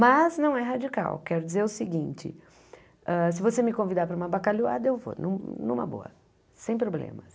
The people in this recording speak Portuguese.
Mas não é radical, quero dizer o seguinte, ah se você me convidar para uma bacalhoada, eu vou, numa boa, sem problemas.